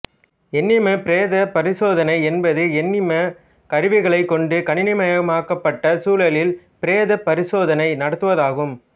எண்ணிம பிரேத பரிசோதனை என்பது எண்ணிம கருவிகளைக் கொண்டு கணினிமயமாக்கப்பட்ட சூழலில் பிரேத பரிசோதனை நடத்துவதாகும்